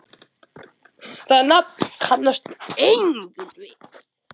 Það nafn kannast enginn við.